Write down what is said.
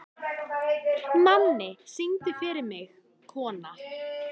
Manni, syngdu fyrir mig „Kona“.